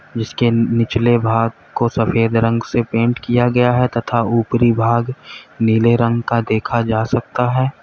जिसके निचले भाग को सफेद रंग से पेंट किया गया है तथा ऊपरी भाग नीले रंग का देखा जा सकता है।